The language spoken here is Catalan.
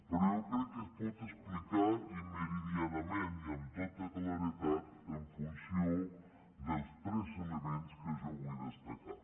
però jo crec que es pot explicar i meridianament i amb tota claredat en funció dels tres elements que jo vull destacar